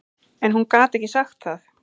En hún gat ekki sagt það.